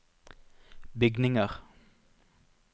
bygninger